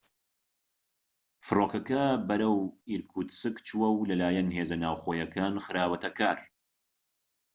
فرۆکەکە بەرەو ئیرکوتسک چووە و لە لایەن هێزە ناوخۆییەکان خراوەتە کار